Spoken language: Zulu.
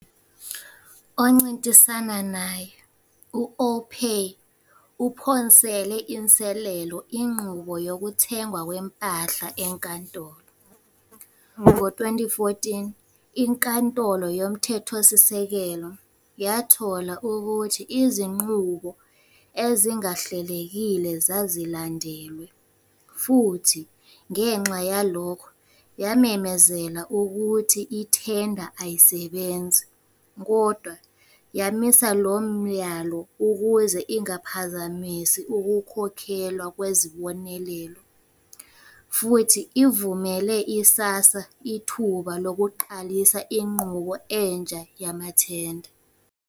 Oncintisana naye, u-AllPay, uphonsele inselelo inqubo yokuthengwa kwempahla enkantolo, ngo-2014 iNkantolo Yomthethosisekelo yathola ukuthi izinqubo ezingahlelekile zazilandelwe, futhi ngenxa yalokho yamemezela ukuthi ithenda ayisebenzi, kodwa yamisa lo myalo ukuze ingaphazamisi ukukhokhelwa kwezibonelelo, futhi ivumele i-SASSA ithuba lokuqalisa inqubo entsha yamathenda.